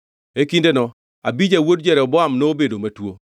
E kindeno Abija wuod Jeroboam nobedo matuo,